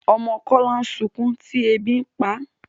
ọmọ Kola sunkún tí ẹbi ǹ pá